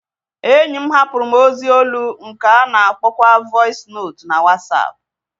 Enyi m hapụrụ m ozi olu nke a na-akpọkwa vọis notu na Wọsapụ